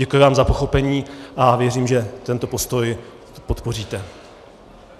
Děkuji vám za pochopení a věřím, že tento postoj podpoříte.